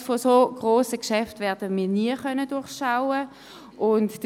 Die Komplexität solch grosser Geschäfte werden wir nie durchschauen können.